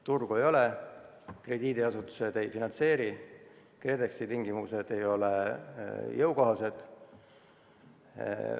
Turgu ei ole, krediidiasutused ei finantseeri, KredExi tingimused ei ole jõukohased.